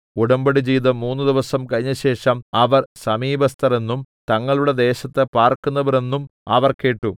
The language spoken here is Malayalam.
ഉടമ്പടി ചെയ്ത് മൂന്ന് ദിവസം കഴിഞ്ഞശേഷം അവർ സമീപസ്ഥർ എന്നും തങ്ങളുടെ ദേശത്ത് പാർക്കുന്നവർ എന്നും അവർ കേട്ടു